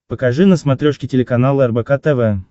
покажи на смотрешке телеканал рбк тв